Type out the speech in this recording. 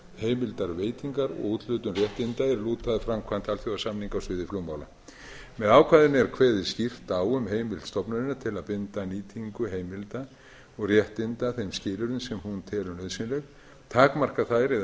annast heimildarveitingar og úthlutun réttinda er lúta að framkvæmd alþjóðasamninga á sviði flugmála með ákvæðinu er kveðið skýrt á um heimild stofnunarinnar til að binda nýtingu heimilda og réttinda þeim skilyrðum sem hún telur nauðsynleg takmarka þær eða synja